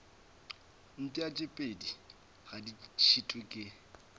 mpšapedi ga di šitwe ke